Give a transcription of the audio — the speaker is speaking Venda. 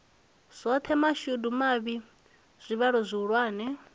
zwoṱhe mashudu mavhi tshivhalo tshihulwane